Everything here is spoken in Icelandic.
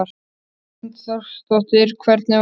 Hrund Þórsdóttir: Hvernig var?